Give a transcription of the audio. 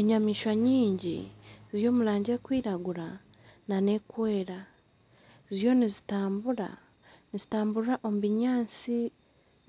Enyamaishwa nyingi ziri omu rangi erikwiragura nana erikwera ziriyo nizitambura nizitamburira omu binyatsi